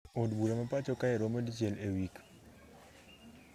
Od bura ma pacho kae romo dichiel e wik